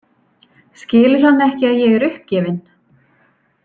Skilur hann ekki að ég er uppgefin?